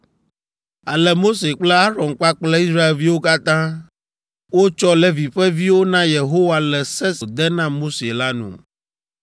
Ale Mose kple Aron kpakple Israelviwo katã wotsɔ Levi ƒe viwo na Yehowa le se si wòde na Mose la nu.